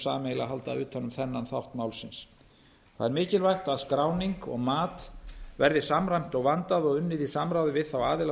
sameiginlega halda utan um þennan þátt málsins það er mikilvægt að skráning og mat verði samræmt og vandað og unnið í samráði við þá aðila